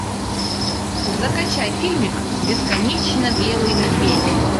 закачай фильмик бесконечно белый медведь